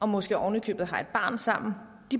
måske oven i købet har et barn sammen